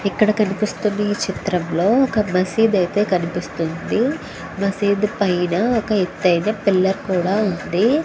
ఇక్కడ కనిపిస్తునా ఈ చిత్రం లో ఒక మసీద్ అయితే కనిపిస్తూ వుంది. దీని పైన ఒక ఎత్తు ఐన పిల్లర్ కూడా వుంది.